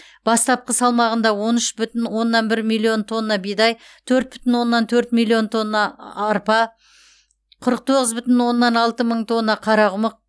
бастапқы салмағында он үш бүтін оннан бір миллион тонна бидай төрт бүтін оннан төрт миллион тонна а арпа қырық тоғыз бүтін оннан алты мың тонна қарақұмық